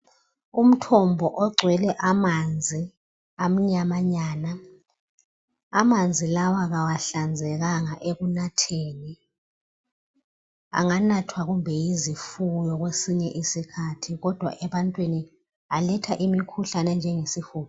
Umthombo ogcwele amanzi amnyamanyana amanzi lawa kawahlangani anganathwa kumbe yizifuyo kwesinye isikhathi kodwa ebantwini aletha imikhuhlane enjengesihudo